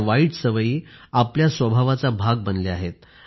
या वाईट सवयी आपल्या स्वभावाचा भाग बनल्या आहेत